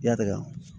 Yada